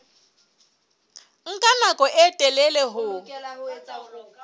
nka nako e telele ho